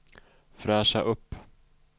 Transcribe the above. fräscha upp